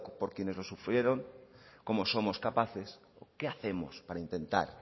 por quienes los sufrieron cómo somos capaces qué hacemos para intentar